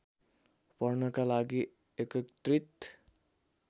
पढ्नका लागि एकत्रित